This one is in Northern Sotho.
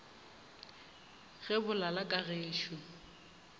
ge bo lala ka gešo